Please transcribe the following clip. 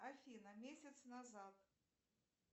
афина месяц назад